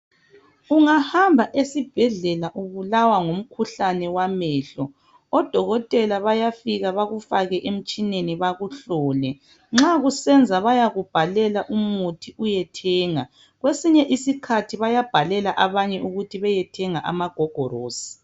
Ungahamba esibhedlela ubulalwa ngumkhuhlane wamehlo odokotela bayafika bakufake emtshineni yakuhlole nxa kusenza bayakubhalela umuthi uyethenga kwesinye isikhathi bayabhalela abanye ukuthi beyethenga amagogorosi.